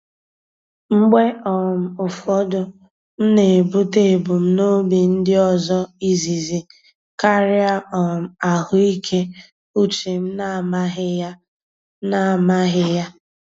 Mgbe um ụfọdụ, m na-ebute ebumnobi ndị ọzọ izizi karịa um ahụike uche m na-amaghị ya. m na-amaghị ya.